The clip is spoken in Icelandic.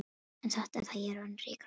En satt er það, ég er orðinn ríkur maður.